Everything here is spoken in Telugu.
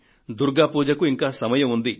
దుర్గా పూజకు ఇంకా సమయం ఉంది